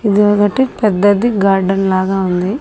ఇదొకటి పెద్దది గార్డెన్ లాగా ఉంది.